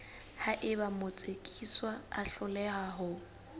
haeba motsekiswa a hloleha ho